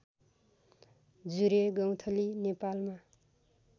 जुरे गौंथली नेपालमा